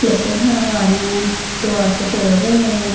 लहसन लगा रहे हैं दीवार को तोड़ रहे हैं।